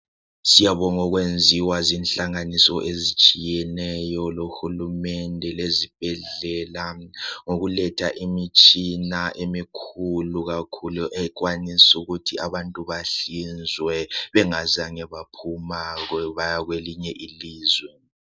Siyabonga okwenziwa zihlanganiso ezitshiyeneyo, lohulumende lezibhedlela okuletha imitshina emikhulu kakhulu ekwanisa ukuthi abantu bahlinzwe bengazange baphuma baya kwelinye ilizwe